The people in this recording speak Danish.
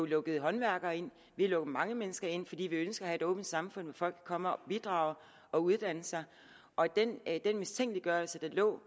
lukket håndværkere ind vi har lukket mange mennesker ind fordi vi ønsker at have et åbent samfund hvor folk kan komme og bidrage og uddanne sig og den mistænkeliggørelse der lå